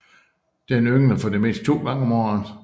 Den yngler for det meste to gange om året